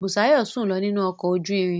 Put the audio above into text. Busayo sùn lọ nínú ọkọ̀ ojú irin.